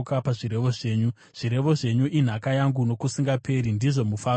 Zvirevo zvenyu inhaka yangu nokusingaperi; ndizvo mufaro womwoyo wangu.